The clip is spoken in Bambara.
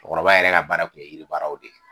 Cɔkɔrɔba yɛrɛ ka baara kun ye yiri baaraw de ye.